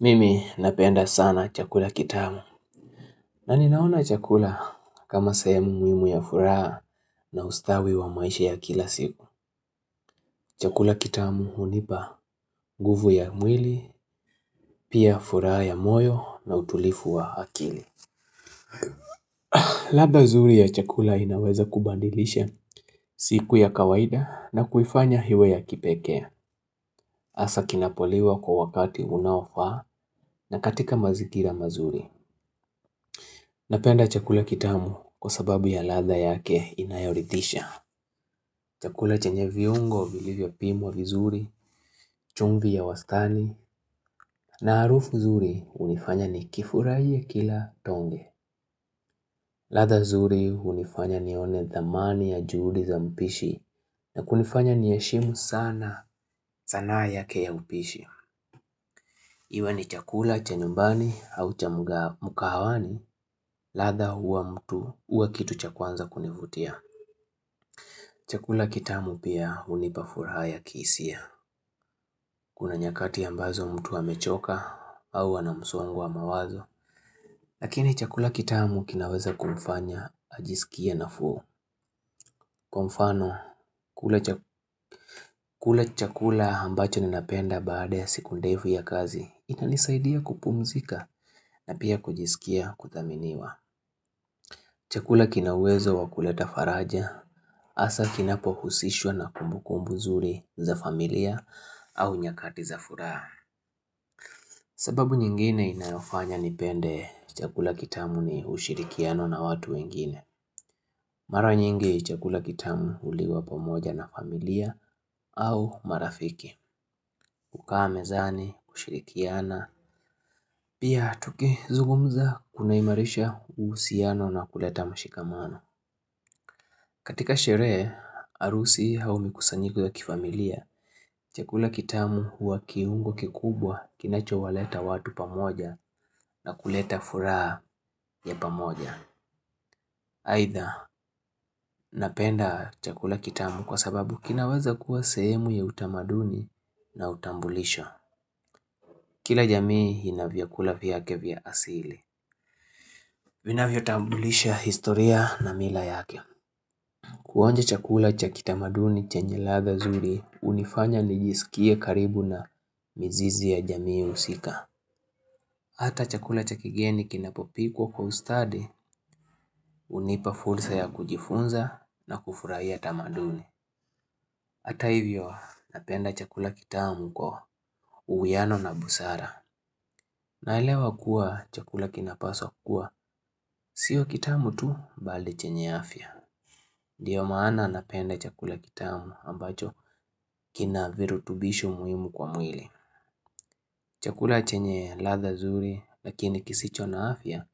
Mimi napenda sana chakula kitamu. Na ninaona chakula kama sahemu muhimu ya furaha na ustawi wa maisha ya kila siku. Chakula kitamu unipa nguvu ya mwili, pia furaha ya moyo na utulifu wa akili. Ladha zuri ya chakula inaweza kubandilisha siku ya kawaida na kuifanya iwe ya kipekee. Asa kinapoliwa kwa wakati unaofaa na katika mazingira mazuri. Napenda chakula kitamu kwa sababu ya ladha yake inayorithisha. Chakula chenye viungo, vilivyopimwa vizuri, chumvi ya wastaani, na harufu zuri unifanya ni kifurahie kila tonge. Ladha zuri unifanya nione dhamani ya juhudi za mpishi, na kunifanya niheshimu sana, sanaa yake ya mpishi. Iwe ni chakula cha nyumbani au cha mkahawani, ladha huwa mtu, huwa kitu cha kwanza kunivutia. Chakula kitamu pia unipa furaha ya kihisia. Kuna nyakati ambazo mtu amechoka au ana msongo wa mawazo. Lakini chakula kitamu kinaweza kumfanya ajisike nafuu. Kwa mfano kula chakula ambacho ninapenda baada ya siku ndefu ya kazi inanisaidia kupumzika na pia kujisikia kudhaminiwa. Chakula kina uwezo wa kuleta faraja, hasa kinapohusishwa na kumbu kumbu nzuri za familia au nyakati za furaha. Sababu nyingine inayofanya nipende chakula kitamu ni ushirikiano na watu wengine. Mara nyingi chakula kitamu uliwa pomoja na familia au marafiki, kukaa mezani, kushirikiana, pia tukizugumza kunaimarisha usiano na kuleta mshikamano. Katika sherehe, harusi au mikusanyiko ya kifamilia. Chakula kitamu huwa kiungo kikubwa kinachowaleta watu pamoja na kuleta furaha ya pamoja. Haidha, napenda chakula kitamu kwa sababu kinaweza kuwa sehemu ya utamaduni na utambulisho. Kila jamii ina vyakula vyake vya asili. Vinavyotambulisha historia na mila yake. Kuonja chakula cha kitamaduni chenye ladha zuri, unifanya nijisikie karibu na mizizi ya jamii usika. Hata chakula cha kigeni kinapopikwa kwa ustadi, unipa fursa ya kujifunza na kufurahia utamaduni. Hata hivyo, napenda chakula kitamu kwa uwiano na busara. Naelewa kuwa chakula kinapaswa kuwa, sio kitamu tu bali chenye afya. Ndio maana napenda chakula kitamu ambacho kina virutubishu muhimu kwa mwili. Chakula chenye ladha zuri lakini kisicho na afya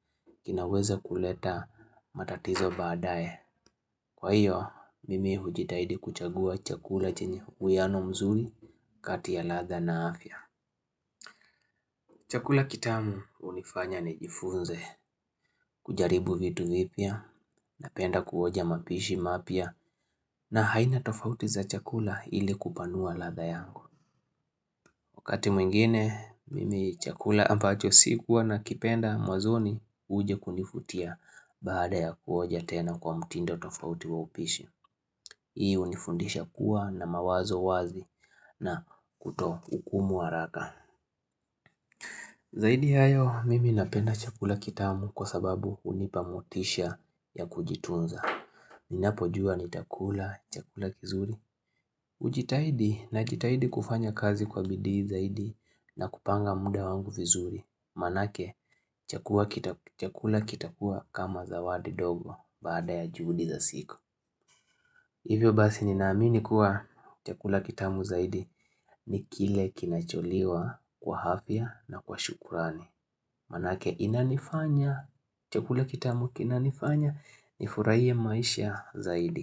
kinaweza kuleta matatizo baadae. Kwa hiyo, mimi hujitahidi kuchagua chakula chenye uwiano mzuri kati ya ladha na afya. Chakula kitamu unifanya nijifunze kujaribu vitu vipya, napenda kuonja mapishi mapya na aina tofauti za chakula ili kupanua ladha yangu Wakati mwingine, mimi chakula ambacho sikuwa nakipenda mwanzoni uje kunifutia Baada ya kuoja tena kwa mtindo tofauti wa upishi Hii unifundisha kuwa na mawazo wazi na kutohukumu wa haraka Zaidi ya hayo, mimi napenda chakula kitamu kwa sababu unipa motisha ya kujitunza Ninapojua nitakula chakula kizuri ujitahidi najitahidi kufanya kazi kwa bidii zaidi na kupanga muda wangu vizuri Manake chakula kitakua kama zawadi dogo bada ya juhudi za siku Hivyo basi nina amini kuwa chakula kitamu zaidi ni kile kinacholiwa kwa afya na kwa shukurani Manake inanifanya chakula kitamu kinanifanya ni furahie maisha zaidi.